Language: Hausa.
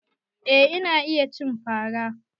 Eh ina iya cin fara.